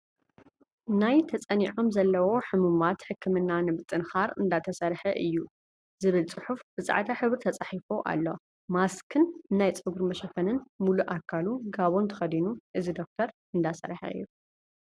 ናይ ተፀኒዖም ዘለው ሕሙማት ሕክምና ንምጥንኻር እንዳተሰርሐ እዩ ፣ ዝብል ፅሑፍ ብፃዕዳ ሕብሪ ተፃሒፉ ኣሎ። ማስኽን ናይ ፀጉሪ መሸፈኒን ሙሉእ ኣኻሉ ጋቦን ተከዲኑ እዚ ዶኩተር እንዳሰርሐ እዩ።